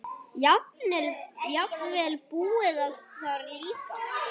Jafnvel búið þar líka.